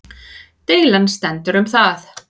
Deilan stendur um það